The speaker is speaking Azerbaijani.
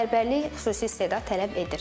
Bərbərlik xüsusi istedad tələb edir.